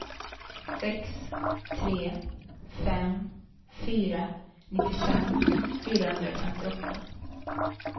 sex tre fem fyra nittiofem fyrahundrafemtioåtta